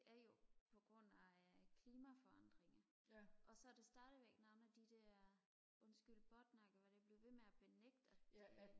det er jo på grund af øh klimaforandringer og så er det stadig noget med de der undskyld båtnakker hvor de bliver ved med at benægte at det